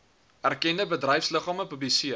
erkende bedryfsliggame publiseer